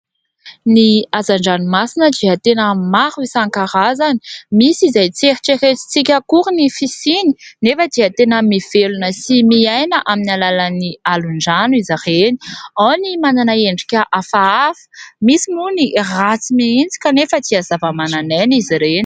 Ny hazan-dranomasina dia tena maro isankarazany. Misy izay tsy eritreretintsika akory ny fisiany; nefa dia tena mivelona sy miaina amin'ny alàlan'ny alon-drano izy ireny. Ao ny manana endrika hafahafa, misy moa ny ratsy mihitsy kanefa dia zava-manan'aina izy ireny.